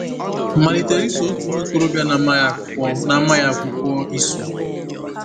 Malitere iso otu nwa okorobịa na-amaghị akwụkwọ na-amaghị akwụkwọ iso.